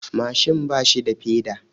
Mashin bashi da peda.